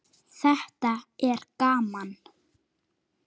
Þetta er gaman.